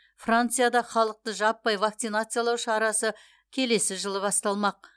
францияда халықты жаппай вакцинациялау шарасы келесі жылы басталмақ